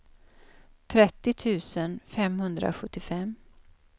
trettio tusen femhundrasjuttiofem